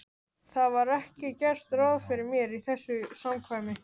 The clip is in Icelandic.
Það var ekki gert ráð fyrir mér í þessu samkvæmi.